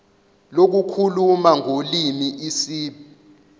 lokukhuluma ngolimi isib